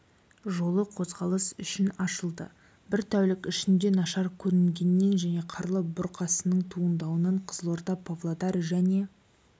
жолы қозғалыс үшін ашылды бір тәулік ішінде нашар көрінгеннен және қарлы бұрқасынның туындауынан қызылорда-павлодар және